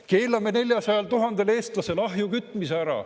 Keelame 400 000 eestlasel ahju kütmise ära.